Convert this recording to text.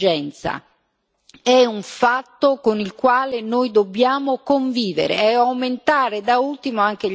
ma è un fatto con il quale noi dobbiamo convivere, e aumentare da ultimo anche gli accordi bilaterali.